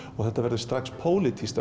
þetta verður strax pólitískt